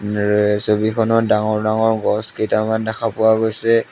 ইয়াৰে এই ছবিখনত ডাঙৰ ডাঙৰ গছ কেইটামান দেখা পোৱা গৈছে।